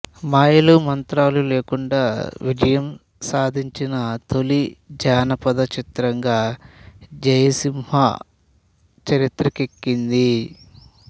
మాయలు మంత్రాలు లేకుండా విజయం సాధించిన తొలి జానపద చిత్రంగా జయసింహ చరిత్రకెక్కింది